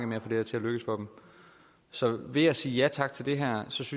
med at få det til at lykkes så ved at sige ja tak til det her synes